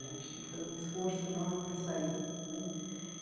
A gente tem que fazer um esforço enorme para sair né.